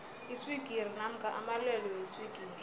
iswigiri namkha amalwelwe weswigiri